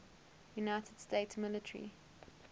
united states military